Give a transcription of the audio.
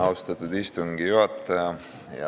Austatud istungi juhataja!